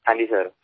हो सर